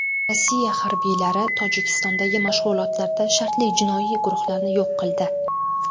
Rossiya harbiylari Tojikistondagi mashg‘ulotlarda shartli jinoiy guruhlarni yo‘q qildi.